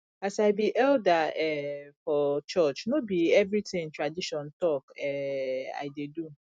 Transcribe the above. as i be elder um for church no be everytin tradition talk um i dey do